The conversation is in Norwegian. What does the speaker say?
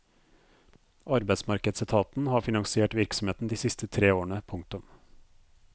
Arbeidsmarkedsetaten har finansiert virksomheten de siste tre årene. punktum